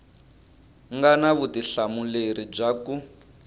nga na vutihlamuleri bya ku